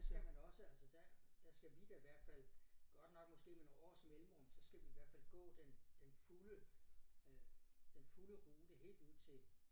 Der skal man også altså der der skal vi da i hvert fald godt nok måske nogle års mellemrum så skal vi i hvert fald gå den den fulde øh den fulde rute helt ud til